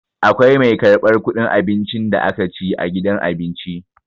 Akwai mai karɓar ƙuɗin abincin da aka ci a gidan abinci.